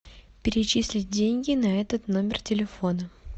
перечислить деньги на этот номер телефона